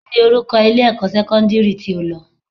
Kíni orúkọ ilé-ẹ̀kọ́ sẹ́kọ́ndírì tí o lọ?